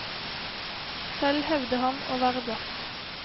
Selv hevder han å være blakk.